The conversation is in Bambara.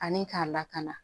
Ani k'a lakana